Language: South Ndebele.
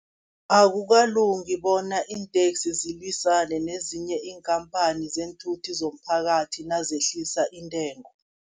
Akukalungi bona iinteksi zilwisane nezinye iinkhampani zeenthuthi zomphakathi, nazehlisa intengo.